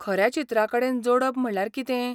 खऱ्या चित्राकडेन जोडप म्हणल्यार कितें?